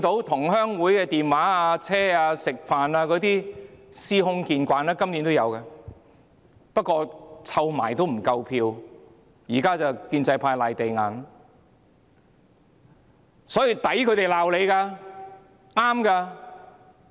同鄉會的電話、專車接送、飯局等做法司空見慣，今年亦有發生，不過湊合起來仍不夠票數，現在建制派議員"賴地硬"。